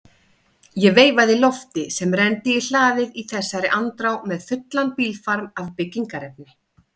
Ég veifaði Lofti sem renndi í hlaðið í þessari andrá með fullan bílfarm af byggingarefni.